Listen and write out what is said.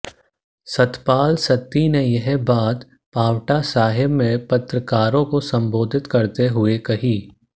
सतपाल सत्ती ने यह बात पांवटा साहिब में पत्रकारों को संबोधित करते हुए कही